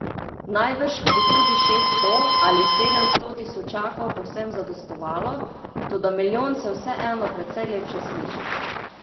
Najbrž bi tudi šeststo ali sedemsto tisočakov povsem zadostovalo, toda milijon se vseeno precej lepše sliši.